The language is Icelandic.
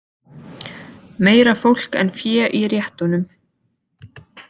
Meira fólk en fé í réttunum